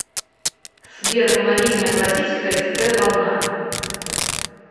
сбер помоги мне оплатить ксп волна